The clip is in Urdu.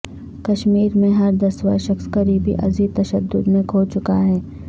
کشمیر میں ہر دسواں شخص قریبی عزیز تشدد میں کھو چکا ہے